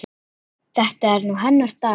Þetta er nú hennar dagur.